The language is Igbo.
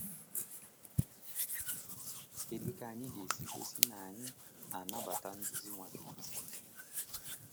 Kedu ka anyị ga-esi gosi na anyị na-anabata nduzi Nwachukwu?